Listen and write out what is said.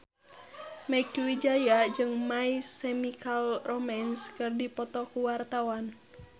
Mieke Wijaya jeung My Chemical Romance keur dipoto ku wartawan